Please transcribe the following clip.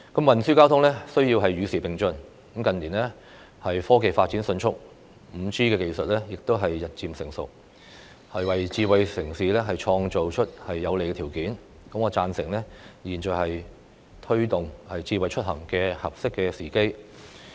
運輸交通必須與時並進，近年科技發展迅速 ，5G 技術亦日漸成熟，為"智慧城市"創造有利的條件，我贊成當下是推動"智慧出行"的合適時機。